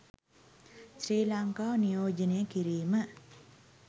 ශ්‍රී ලංකාව නියෝජනය කිරීම